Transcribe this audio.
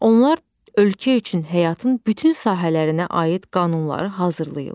Onlar ölkə üçün həyatın bütün sahələrinə aid qanunları hazırlayırlar.